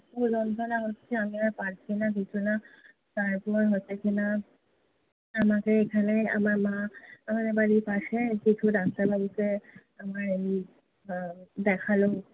এত যন্ত্রনা হচ্ছে। আমি আর পারছি না কিছু না। তারপর হচ্ছে কি না, আমাকে এখানে আমার মা আমাদের বাড়ির পাশে কিছু doctor বাবুকে আমার এমনি হম দেখালো।